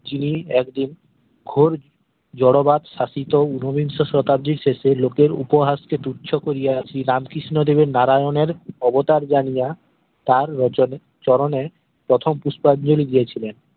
যিনি একদিন খোর জরো বাদ শাসিত উনবিংশ শতাব্দীর শেষে লোকের উপহাস কে তুচ্ছ করিয়া শ্রীরাম কৃষ্ণদেবের নারায়নের অবতার জানিয়া তার রোচনে চরণে প্রথম পুষ্পাঞ্জলি দিয়েছিলেন